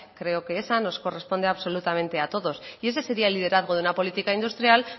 creo que esa nos corresponde absolutamente a todos y ese sería el liderazgo de una política industrial